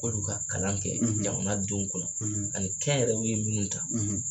K'olu ka kalan kɛ jamana denw kunna, ani kɛnyɛrɛyew ye minnu ta